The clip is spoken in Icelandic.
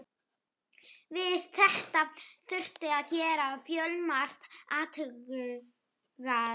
Við þetta þurfti að gera fjölmargar athugasemdir.